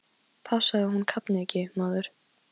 Passaðu að hún kafni ekki, maður!